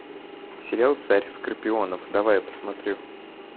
сериал царь скорпионов давай посмотрю